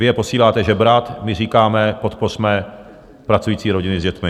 Vy je posíláte žebrat, my říkáme: podpořme pracující rodiny s dětmi.